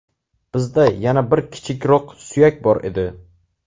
Bizda yana bir kichikroq suyak bor edi.